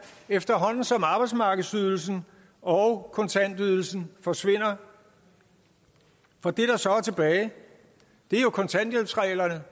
efterhånden som arbejdsmarkedsydelsen og kontantydelsen forsvinder og det der så er tilbage er jo kontanthjælpsreglerne